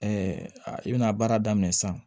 i bɛna baara daminɛ sisan